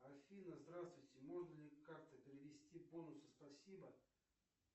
афина здравствуйте можно ли как то перевести бонусы спасибо